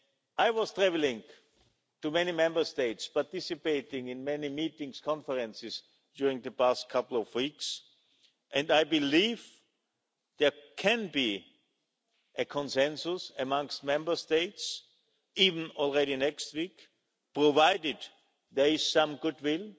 I have been travelling to many Member States, participating in many meetings and conferences during the past couple of weeks, and I believe there can be a consensus amongst Member States, even already next week, provided there is some goodwill